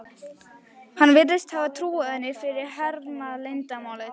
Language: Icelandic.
Hann virðist hafa trúað henni fyrir hernaðarleyndarmáli.